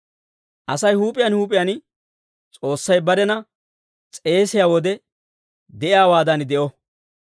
Asay huup'iyaan huup'iyaan S'oossay barena s'eesiyaa wode de'iyaawaadan de'o.